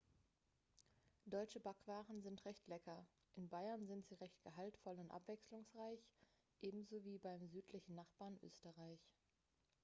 deutsche backwaren sind recht lecker in bayern sind sie recht gehaltvoll und abwechslungsreich ebenso wie beim südlichen nachbarn österreich